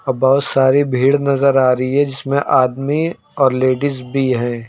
बहुत सारी भीड़ नजर आ रही है जिसमें आदमी और लेडिस भी है।